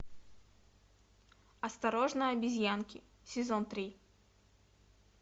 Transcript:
осторожно обезьянки сезон три